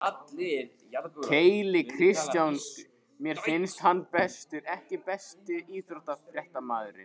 Keli Kristjáns mér finnst hann bestur EKKI besti íþróttafréttamaðurinn?